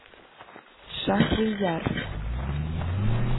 шахрияр